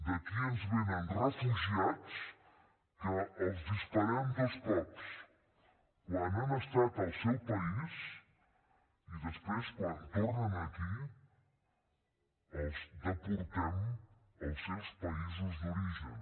d’aquí ens vénen refugiats que els disparem dos cops quan han estat al seu país i després quan tornen aquí els deportem als seus països d’origen